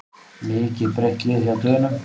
Mikið breytt lið hjá Dönum